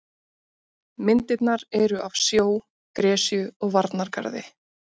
Myndirnar eru af sjó, gresju og varnargarði.